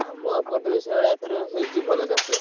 ଆମ ଏପଟରେ ହଁ ସେଇଭଳିଆ ଏଇଥର ହେଇଛି ଭଲ ଚାଷ।